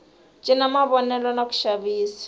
cinca mavonelo na ku xavisa